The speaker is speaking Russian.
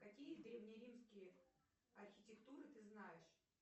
какие древнеримские архитектуры ты знаешь